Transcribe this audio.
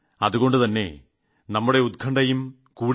അതുകൊണ്ടുതന്നെ നമ്മുടെ ഉത്കണ്ഠയും കൂടി